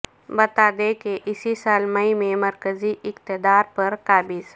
بتا دیں کہ اسی سال مئی میں مرکزی اقتدار پر قابض